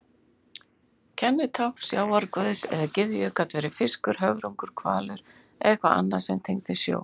Kennitákn sjávarguðs eða gyðju gat verið fiskur, höfrungur, hvalur eða eitthvað annað sem tengist sjó.